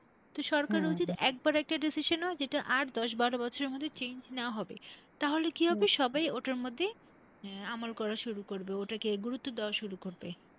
তো একবার একটা decision নেওয়া যেটা আর দশ বারো বছরের মধ্যে change না হবে। তাহলে কি হবে সবাই ওটার মধ্যে আহ আমল করা শুরু করবে, ওটাকে গুরুত্ব দেওয়া শুরু করবে।